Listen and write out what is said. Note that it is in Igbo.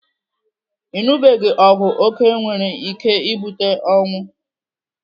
Ịnụbiga ọgwụ oke nwere ike ibute ọnwụ.